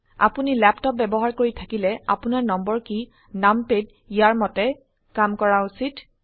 আপোনি ল্যাপটপ ব্যবহাৰ কৰি থাকিলে আপোনাৰ নম্বৰ কী numpad ইয়াৰ মতে কাম কৰা উচিত